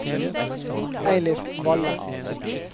Eilif Valle